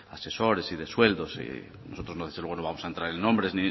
asesores y de sueldos y nosotros desde luego no vamos a entrar en nombres